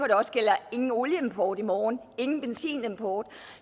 der også gælder ingen olieimport i morgen og ingen benzinimport og